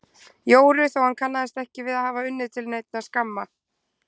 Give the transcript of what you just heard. Jóru þó hann kannaðist ekki við að hafa unnið til neinna skamma.